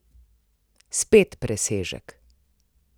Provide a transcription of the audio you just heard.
Spet presežek!